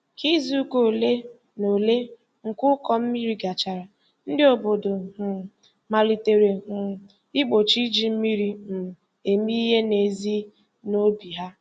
Ka izuụka ole na ole nke ụkọ mmiri gachara, ndị obodo um malitere um igbochi iji mmiri um eme ihe n'ezi n'obi ha.